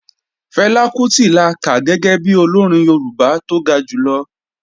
Fẹlá Kútì la kà gẹ́gẹ́ bi Olórin Yorùbá tó ga jùlọ